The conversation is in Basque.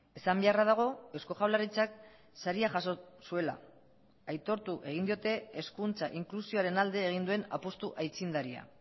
esan beharra dago eusko jaurlaritzak saria jaso zuela aitortu egin diote hezkuntza inklusioaren alde egin duen apustu aitzindaria